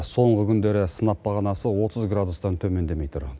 соңғы күндері сынап бағанасы отыз градустан төмендемей тұр